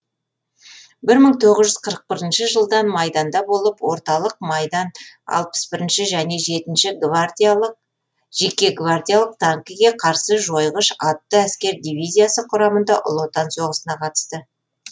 бір мың тоғыз жүз қырық бірінші жылдан майданда болып орталық майдан алпыс бірінші және жетінші гвардиялық танкіге қарсы жойғыш атты әскер дивизиясы құрамында ұлы отан соғысына қатысты